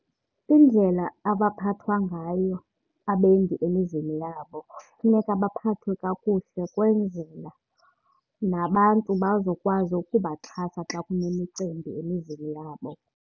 Indlela abaphathwa ngayo abendi emizini yabo funeka baphathwe kakuhle kwenzela nabantu bazokwazi ukubaxhasa xa kunemicimbi emizini yabo.